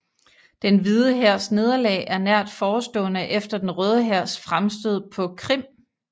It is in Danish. Den Hvide Hærs nederlag er nært forestående efter Den Røde Hærs fremstød på Krim